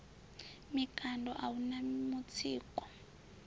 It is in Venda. mikando a hu na mutsiko